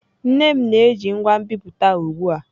Nne m na-eji ngwa nbipute ugbu a.